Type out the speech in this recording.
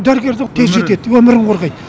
дәрігер де тез жетеді өмірін қорғайды